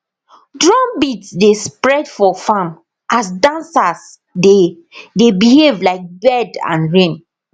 drum beat dey spread for farm as dancers dey dey behave like bird and rain